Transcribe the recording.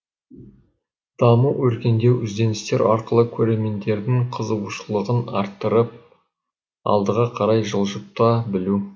даму өркендеу ізденістер арқылы көрермендердің қызығушылығын арттырып алдыға қарай жылжыта білу